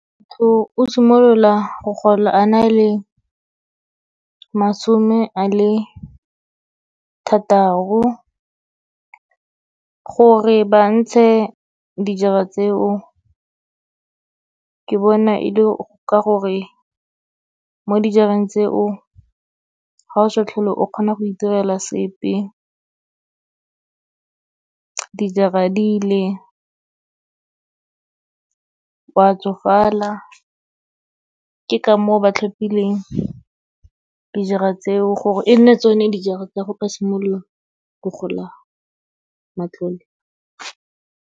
Motho o simolola go gola a na le masome a le thataro. Gore ba ntshe dijara tseo, ke bona e le ka gore mo dijareng tseo, ga o sa tlhole o kgona go itirela sepe, dijara di ile, o a tsofala. Ke ka moo, ba tlhophileng dijara tseo, gore e nne tsone dijara tsa go ba simolola go gola matlole.